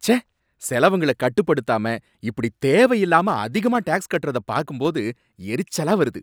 ச்சே! செலவுங்கள கட்டுப்படுத்தாம இப்படி தேவையில்லாம அதிகமா டேக்ஸ் கட்டுறத பார்க்கும்போது எரிச்சலா வருது.